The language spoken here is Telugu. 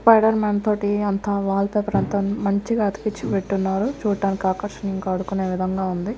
స్పైడర్ మ్యాన్ తోటి అంతా వాల్ పేపర్ అంతా మంచిగా అతికించి పెట్టునారు చూడానికి ఆకర్షణీయంగా ఆడుకునే విధంగా ఉంది.